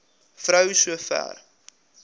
vrou so ver